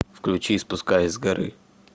включи спускаясь с горы